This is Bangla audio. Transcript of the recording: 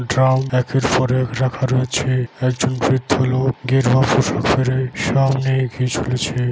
ড্রাম একের পর এক রাখা রয়েছে। একজন বৃদ্ধ লোক গেরুয়া পোশাক পরে সামনে এগিয়ে চলেছে।